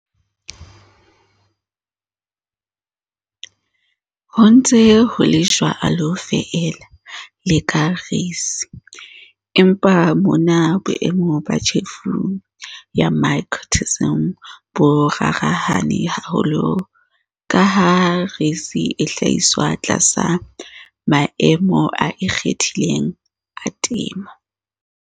Ho ntse ho le jwalo feela le ka reisi, empa mona boemo ba tjhefo ya mycotoxin bo rarahane haholo ka ha reisi e hlahiswa tlasa maemo a ikgethileng a temo.